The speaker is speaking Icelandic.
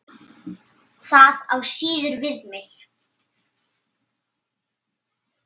Það á síður við mig.